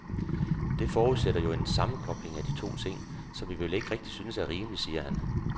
Det forudsætter jo en sammenkobling af de to ting, som vi vel ikke rigtig synes er rimelig, siger han.